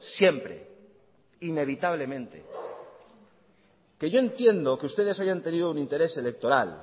siempre inevitablemente que yo entiendo que ustedes hayan tenido un interés electoral